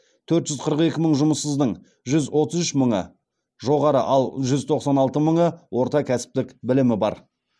төрт жүз қырық екі мың жұмыссыздың жүз отыз үш мыңы жоғары ал жүз тоқсан алты мыңы орта кәсіптік білімі бар